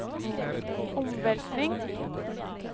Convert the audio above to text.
omveltning